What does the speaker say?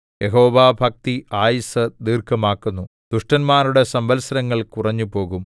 യഹോവാഭക്തി ആയുസ്സ് ദീർഘമാക്കുന്നു ദുഷ്ടന്മാരുടെ സംവത്സരങ്ങൾ കുറഞ്ഞുപോകും